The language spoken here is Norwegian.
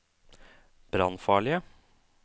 brannfarlige